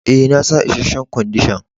E,na sa isheshen Kwandishan.